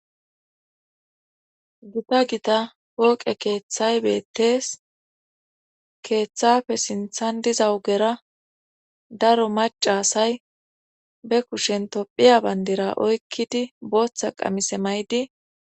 Gita gita pooqe keeththay beettees keeththafe sinthan diza wugera daro macaasay be kushen tophiya bayndira oykkidi booththa qamise may'di.